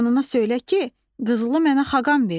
Anana söylə ki, qızılı mənə xaqan verdi.